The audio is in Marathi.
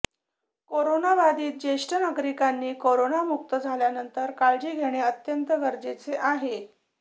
कोरोनाबाधित ज्येष्ठ नागरिकांनी कोरोनामुक्त झाल्यानंतर काळजी घेणे अत्यंत गरजेचे आहे